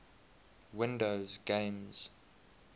windows games